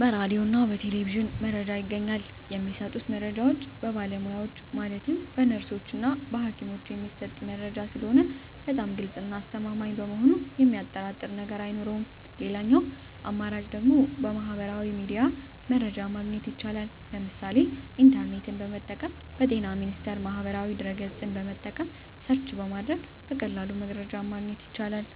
በራዲዮ እና በቴሌቪዥንም መረጃ ይገኛል። የሚሰጡት መረጃዎች በባለሙያዎች ማለትም በነርሶች እና በሀኪሞች የሚሰጥ መረጂ ስለሆነ በጣም ግልፅ እና አስተማማኝ በመሆኑ የሚያጠራጥር ነገር አይኖረውም ሌላኛው አማራጭ ደግሞ በሚህበራዊ ሚዲያ መረጃ ማግኘት ይቻላል ለምሳሌ ኢንተርኔትን በመጠቀም በጤና ሚኒስቴር ማህበራዊ ድህረ ገፅን በመጠቀም ሰርች በማድረግ በቀላሉ መረጃን ማግኘት ይቻላል።